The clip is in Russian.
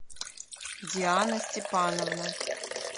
диана степановна